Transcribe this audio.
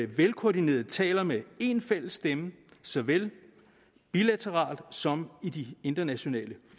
velkoordineret taler med en fælles stemme såvel bilateralt som i de internationale